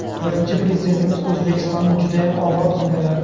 Birinchi Prezidentimiz O‘zbekistonni judayam obod qildilar.